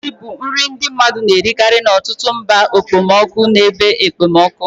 Ogbe ji bụ nri ndi mmadu na-erikari n'ọtụtụ mba okpomọkụ na ebe okpomọkụ.